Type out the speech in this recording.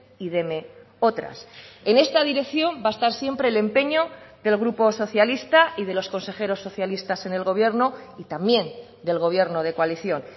y deme otras en esta dirección va a estar siempre el empeño del grupo socialista y de los consejeros socialistas en el gobierno y también del gobierno de coalición